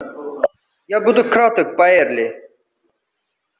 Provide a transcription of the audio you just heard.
я буду краток байерли